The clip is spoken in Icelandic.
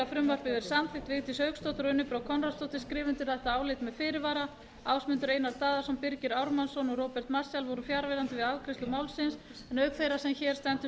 frumvarpið verði samþykkt vigdís hauksdóttir og unnur brá konráðsdóttir skrifa undir þetta álit með fyrirvara ásmundur einar daðason birgir ármannsson og róbert marshall voru fjarverandi við afgreiðslu málsins en auk þeirrar sem hér stendur